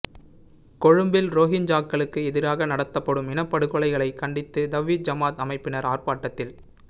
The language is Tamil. கொழும்பில் ரோஹிஞ்சாக்களுக்கு எதிராக க நடாத்தப்படும் இனப்படுகொலைகளை கண்டித்து தவ்ஹீத் ஜமாஅத் அமைப்பினர் ஆர்ப்பாட்டத்தில்